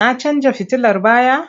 Na canja fitilar baya?